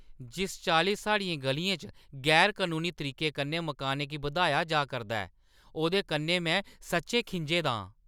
जिस चाल्ली साढ़ियें ग'लियें च गैर-कनूनी तरीके कन्नै मकानें गी बधाया जा करदा ऐ, ओह्दे कन्नै में सच्चैं खिंझे दा आं।